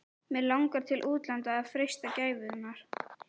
Mig langar til útlanda að freista gæfunnar.